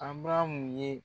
ABARAMU ye.